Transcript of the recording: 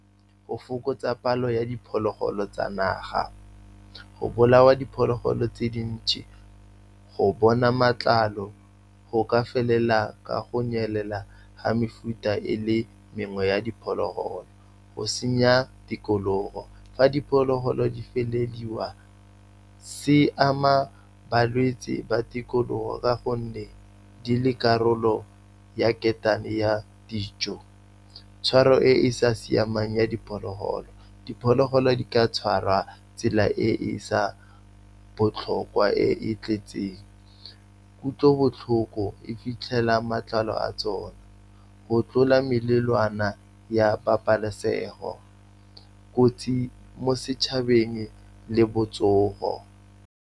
Go fokotsa palo ya diphologolo tsa naga, go bolawa diphologolo tse dintsi, go bona matlalo go ka felela ka go nyelela ga mefuta e le mengwe ya diphologolo. Go senya tikologo, fa diphologolo di felelediwa, se ama balwetsi ba tikologo ka gonne di le karolo ya ketane ya dijo. Tshwaro e e sa siamang ya diphologolo, diphologolo di ka tshwarwa tsela e e sa botlhokwa e e tletseng kutlobotlhoko. E fitlhela matlalo a tsone go tlola melawana ya pabalesego, kotsi mo setšhabeng le botsogo.